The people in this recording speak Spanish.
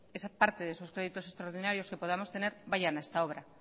parte de esos créditos extraordinarios que podamos tener vayan a esta obra